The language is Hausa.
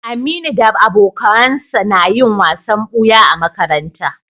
Aminu da abokawansa na yin wasan buya a makaranta